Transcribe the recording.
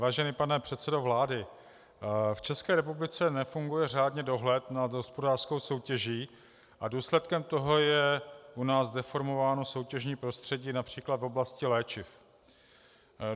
Vážený pane předsedo vlády, v České republice nefunguje řádně dohled nad hospodářskou soutěží a důsledkem toho je u nás deformováno soutěžní prostředí například v oblasti léčiv.